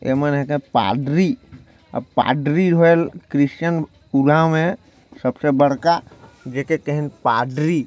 ए मन हा का पादरी अऊ पादरी एमन ला क्रिश्चन सबसे बड़का जेका कहन पादरी--